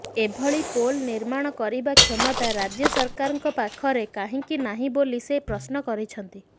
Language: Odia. ଏଭଳି ପୋଲ୍ ନିର୍ମାଣ କରିବା କ୍ଷମତା ରାଜ୍ୟ ସରକାରଙ୍କ ପାଖରେ କାହିଁକି ନାହିଁ ବୋଲି ସେ ପ୍ରଶ୍ନ କରିଛନ୍ତି